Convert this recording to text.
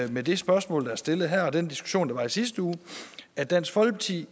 med det spørgsmål der er stillet her og den diskussion der var i sidste uge at dansk folkeparti